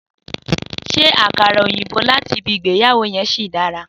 Sé àkàrà òyìnbó láti ibi ìgbéyàwó yen sì dára?